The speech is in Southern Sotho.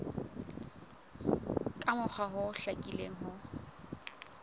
ka mokgwa o hlakileng ho